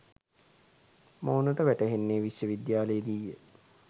මොවුනට වැටහෙන්නේ විශ්ව විද්‍යාලයේදීය.